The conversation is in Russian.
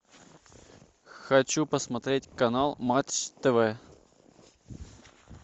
хочу посмотреть канал матч тв